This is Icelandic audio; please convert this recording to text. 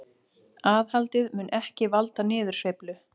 Aðhaldið mun ekki valda niðursveiflu